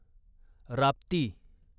Rapti